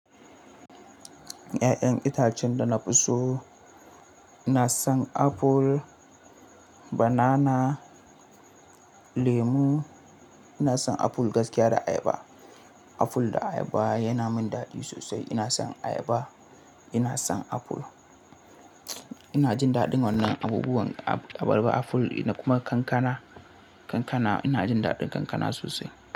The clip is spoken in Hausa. Ya'yan itacen da na fi so, ina son apple, banana, lemu. Ina son aful gaskiya da ayaba. Aful da ayaba yana min daɗi sosai. Ina son ayaba, ina son aful. Ina jin daɗin wannan abubuwan abarba aful ina kuma kankana, kankana ina jin daɗin kankana sosai.